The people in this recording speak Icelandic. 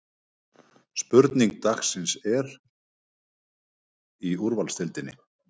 Spurning dagsins er: Hver verður bestur í ensku úrvalsdeildinni?